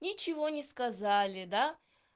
ничего не сказали да